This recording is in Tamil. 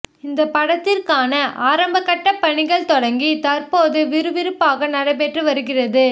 இந்த படத்திற்கான ஆரம்பகட்ட பணிகள் தொடங்கி தற்போது விறுவிறுப்பாக நடைபெற்று வருகிறது